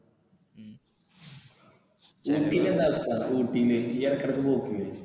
ഊട്ടിയിൽ എന്താ അവസ്ഥ ഊട്ടിയിൽ നീ ഇടക്ക് ഇടക്ക് പോക്കില്ലേ?